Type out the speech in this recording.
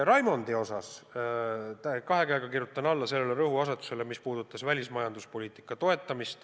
Ka kirjutan ma kahe käega alla Raimondi kõnes toodud rõhuasetusele, et tuleb toetada välismajanduspoliitikat.